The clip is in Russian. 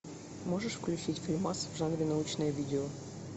можешь включить фильмас в жанре научное видео